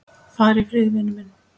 Far í friði, vinur minn.